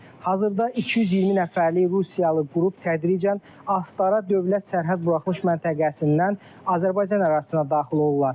Hazırda 220 nəfərlik Rusiyalı qrup tədricən Astara dövlət sərhəd buraxılış məntəqəsindən Azərbaycan ərazisinə daxil olurlar.